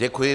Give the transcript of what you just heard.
Děkuji.